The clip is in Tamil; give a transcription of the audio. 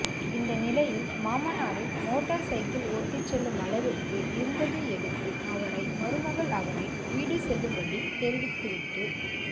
இந்த நிலையில் மாமனாரின் மோட்டார் சைக்கிள் ஒட்டிச் செல்லும் அளவிற்கு இருந்ததையடுத்து அவரை மருமகள் அவரின் வீடு செல்லும்படி தெரிவித்துவிட்டு